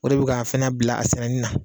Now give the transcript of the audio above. O de bɛ k'an fɛnɛ bila a sɛnɛni na.